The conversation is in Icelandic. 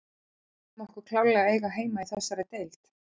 Við teljum okkur klárlega eiga heima í þessari deild.